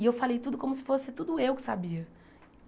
E eu falei tudo como se fosse tudo eu que sabia.